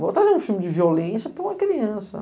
Vou trazer um filme de violência para uma criança.